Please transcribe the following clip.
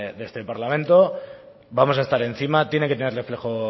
de este parlamento vamos a estar encima tiene que tener reflejo